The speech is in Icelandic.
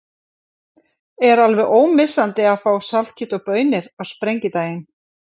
Er alveg ómissandi að fá saltkjöt og baunir á Sprengidaginn?